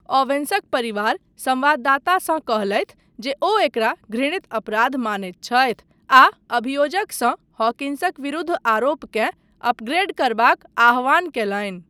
ओवेन्सक परिवार संवाददातासँ कहलथि जे ओ एकरा घृणित अपराध मानैत छथि आ अभियोजकसँ हॉकिन्सक विरुद्ध आरोपकेँ अपग्रेड करबाक आह्वान कयलनि।